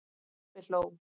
Pabbi hló.